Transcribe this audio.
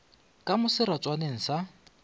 ka mo seratswaneng sa ka